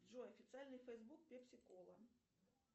джой официальный фейсбук пепси кола